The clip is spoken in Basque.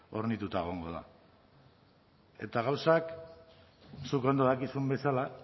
hornitutako egongo da eta gauzak zuk ondo dakizun bezala